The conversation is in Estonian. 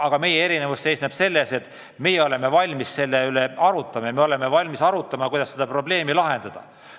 Aga meie erinevus seisneb selles, et meie oleme valmis arutlema, kuidas seda probleemi lahendada.